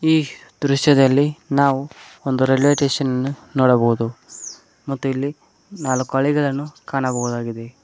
ಈ ದೃಶ್ಯದಲ್ಲಿ ನಾವು ಒಂದು ರೈಲ್ವೆ ಸ್ಟೇಷನ್ ನನ್ನ ನೋಡಬೊದು ಮತ್ತು ಇಲ್ಲಿ ನಾಲ್ಕು ಹಳಿಗಳನ್ನು ಕಾಣಹುದಾಗಿದೆ.